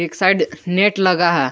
एक side net लगा है।